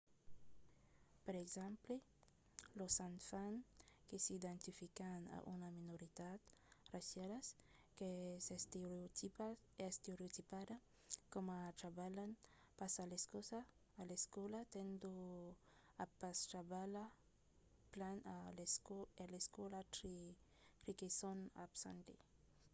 per exemple los enfants que s’identifican a una minoritat raciala qu’es estereotipada coma trabalhant pas a l'escòla tendon a pas trabalhar plan a l’escòla tre que son assabentats de l’estereotip associat amb lor raça